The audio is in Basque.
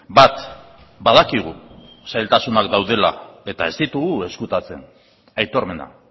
bat badakigu zailtasunak daudela eta ez ditugu ezkutatzen aitormena